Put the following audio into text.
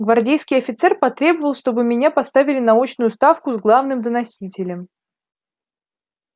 гвардейский офицер потребовал чтоб меня поставили на очную ставку с главным доносителем